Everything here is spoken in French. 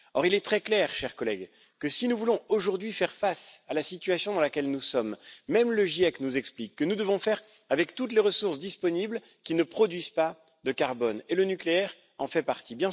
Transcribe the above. Or, il est très clair, chers collègues, que si nous voulons aujourd'hui faire face à la situation dans laquelle nous sommes, nous devons ce qu'explique même le GIEC nous accommoder de toutes les ressources disponibles qui ne produisent pas de carbone, et le nucléaire en fait partie.